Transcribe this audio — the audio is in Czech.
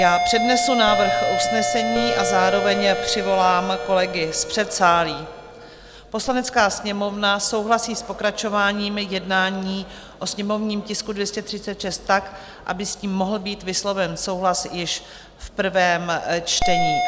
Já přednesu návrh usnesení a zároveň přivolám kolegy z předsálí: "Poslanecká sněmovna souhlasí s pokračováním jednání o sněmovním tisku 236 tak, aby s ním mohl být vysloven souhlas již v prvém čtení."